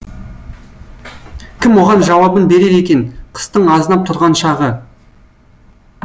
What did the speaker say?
кім оған жауабын берер екен қыстың азынап тұрған шағы